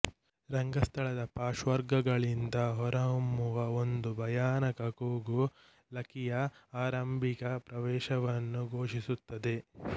ರಂಗಸ್ಥಳದ ಪಾರ್ಶ್ವಗಳಿಂದ ಹೊರಹೊಮ್ಮುವ ಒಂದು ಭಯಾನಕ ಕೂಗು ಲಕಿಯ ಆರಂಭಿಕ ಪ್ರವೇಶವನ್ನು ಘೋಷಿಸುತ್ತದೆ